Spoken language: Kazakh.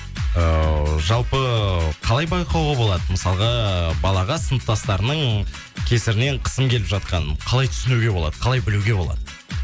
ыыы жалпы қалай байқауға болады мысалға балаға сыныптастарының кесірінен қысым келіп жатқанын қалай түсінуге болады қалай білуге болады